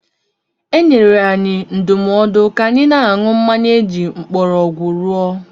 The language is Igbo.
E nyere anyị ndụmọdụ ka anyị na-aṅụ mmanya eji mgbọrọgwụ rụọ.